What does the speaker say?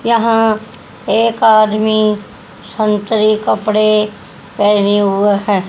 यहाँ एक आदमी संतरी कपड़े पहने हुए है।